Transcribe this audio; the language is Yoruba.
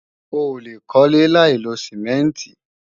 Oòlè kólé láìlo Sìmẹ́ǹtì